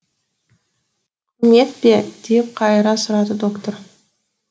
құрмет пе деп қайыра сұрады доктор